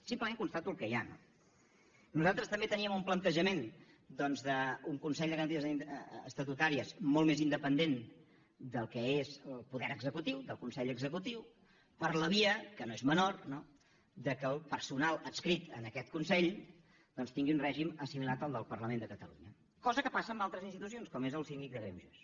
simplement constato el que hi ha no nosaltres també teníem un plantejament doncs d’un consell de garanties estatutàries molt més independent del que és el poder executiu del consell executiu per la via que no és menor no que el personal adscrit en aquest consell doncs tingui un règim assimilat al del parlament de catalunya cosa que passa en altres institucions com és el síndic de greuges